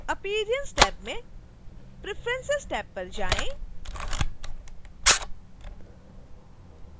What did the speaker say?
appearance tab में preference tab पर जाएँ